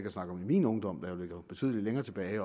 at snakke om i min ungdom der jo ligger betydelig længere tilbage